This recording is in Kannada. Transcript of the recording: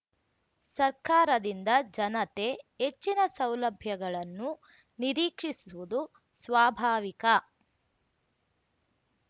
ಸರ್ಕಾರದಿಂದ ಜನತೆ ಹೆಚ್ಚಿನ ಸೌಲಭ್ಯಗಳನ್ನು ನಿರೀಕ್ಷಿಸುವುದು ಸ್ವಾಭಾವಿಕ